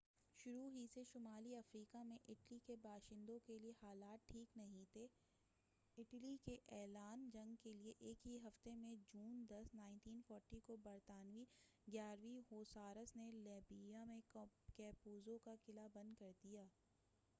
شروع ہی سے شمالی افریقہ میں اٹلی کے باشندوں کے لیے حالات ٹھیک نہیں تھے اٹلی کے اعلان جنگ کے ایک ہی ہفتے میں جون 10 1940کو برطانوی 11ویں ہوسارس نے لیبیا میں کیپوزو کا قلعہ بند کر دیا